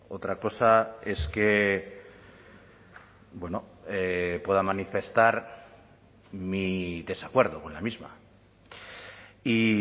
otra cosa es que pueda manifestar mi desacuerdo con la misma y